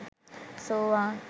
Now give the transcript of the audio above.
සෝවාන්,